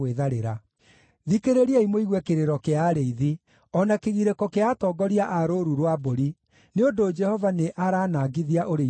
Thikĩrĩriai mũigue kĩrĩro kĩa arĩithi, o na kĩgirĩko kĩa atongoria a rũũru rwa mbũri, nĩ ũndũ Jehova nĩaranangithia ũrĩithio wao.